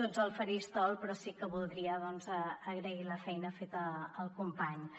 tots al faristol però sí que voldria agrair la feina feta als companys